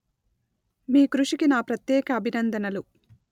మీ కృషికి నా ప్రత్యేక అభినందనలు